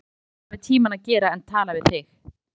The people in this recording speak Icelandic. Hún hefur nóg annað við tímann að gera en tala við þig.